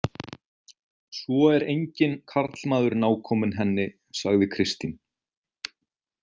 Svo er enginn karlmaður nákominn henni, sagði Kristín.